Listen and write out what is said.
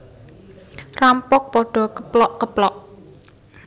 Rampok padha keplok keplok